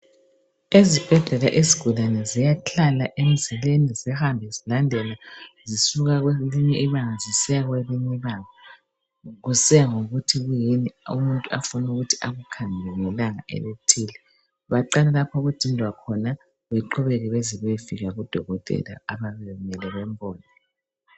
Ezibhedlela izigulane ziyahlala emzileni zihambe zilandela zisuka kwelinye ibanga zisiya kwelinye ibanga kusiya ngokuthi yikuyini umuntu afuna ukuthi akukhangele ngelanga elithile. Baqala lapho okudindwa khona beqhubeke bezebeyefika kudokotela ababemele bambone